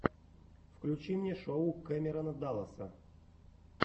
включи мне шоу кэмерона далласа